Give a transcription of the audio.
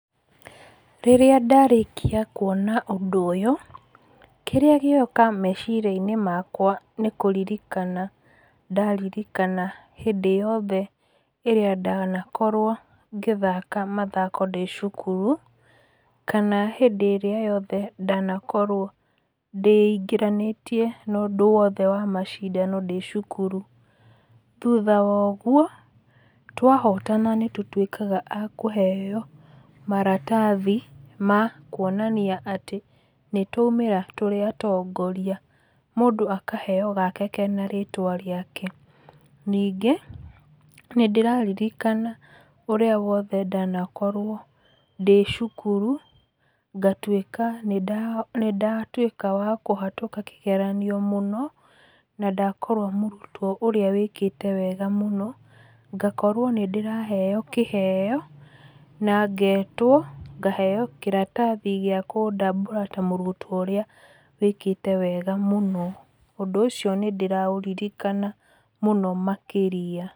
Rĩrĩa ndarĩkia kuona ũndũ ũyũ, kĩrĩa gĩoka meciria-inĩ makwa nĩ kũririkana ndaririkana hĩndĩ yothe ĩrĩa ndanakorwo ngĩthaka mathako ndĩ cukuru, kana hĩndĩ ĩrĩa yothe ndanakorwo ndĩingĩranĩtie na ũndũ wothe wa macindano ndĩ cukuru. Thutha wo ũguo twahotana nĩ tũtuĩkaga a kũheo maratathi ma kuonania atĩ nĩ twaumĩra tũrĩ a tongoria, mũndũ akaheo gake kena rĩtwa rĩake. Ningĩ nĩ ndĩrarikana ũrĩa wothe ndanakorwo ndĩ cukuru ngatuĩka nĩ ndatuĩka wa kũhetũka kĩgeranio mũno na ndakorwo mũrutwo ũrĩa wĩkĩte wega mũno, ngakorwo nĩ ndĩraheyo kĩheyo na ngetwo ngaheyo kĩrathi gĩa kũndambũra ta mũrutwo ũrĩa wĩkĩte wega mũno. Ũndũ ũcio nĩ ndĩraũririkana mũno makĩria.